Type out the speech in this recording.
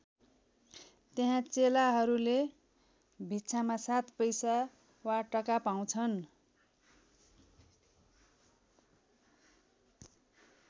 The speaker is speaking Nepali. त्यहाँ चेलाहरूले भिक्षामा सात पैसा वा टका पाउँछन्।